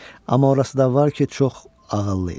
Amma orası da var ki, çox ağıllı idi.